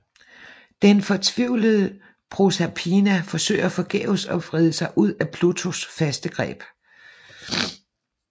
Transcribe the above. Den fortvivlede Proserpina prøver forgæves at vride sig ud af Plutos faste greb